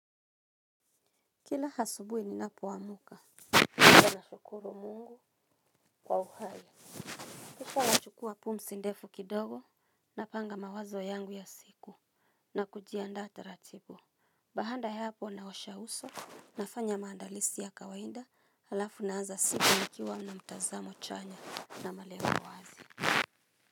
Kila asubuhi ninapoamka kisha nashukuru Mungu kwa uhai. Kisha nachukua pumsi ndefu kidogo napanga mawazo yangu ya siku na kujiandaa taratibu. Baada ya hapo naosha uso nafanya maandalizi ya kawaida halafu naanza siku nikiwa na mtazamo chanya na malengo wazi.